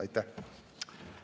Aitäh!